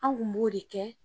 Anw kun b'o de kɛ.